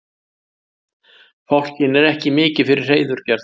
fálkinn er ekki mikið fyrir hreiðurgerð